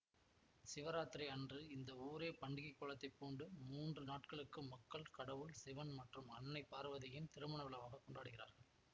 சிவராத்திரி அன்று இந்த ஊரே பண்டிகை கோலத்தை பூண்டு மூன்று நாட்களுக்கு மக்கள் கடவுள் சிவன் மற்றும் அன்னை பார்வதியின் திருமண விழாவாக கொண்டாடுகிறார்கள்